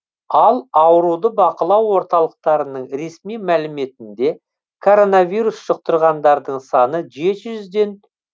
ал ауруды бақылау орталықтарының ресми мәліметінде коронавирус жұқтырғандардың саны жеті жүзден